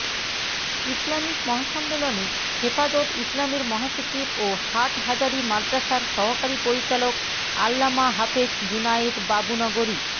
Islamic মহাসম্মেলনে হেফাজত ইসলামের মহাসচিব ও হাটহাজারি মাদ্রাসার সহকারী পরিচালক আল্লামা হাফেজ জুনায়েদ বাবুনগরী